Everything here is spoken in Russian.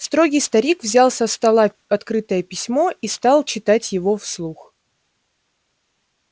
строгий старик взял со стола открытое письмо и стал читать его вслух